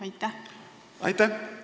Aitäh!